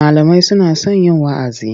Malamai suna son yin wa'azi.